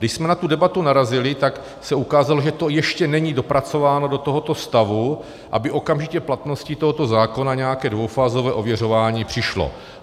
Když jsme na tu debatu narazili, tak se ukázalo, že to ještě není dopracováno do tohoto stavu, aby okamžitě platností tohoto zákona nějaké dvoufázové ověřování přišlo.